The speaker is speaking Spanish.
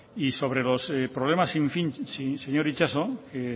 y sobre los problemas sin fin señor itxaso que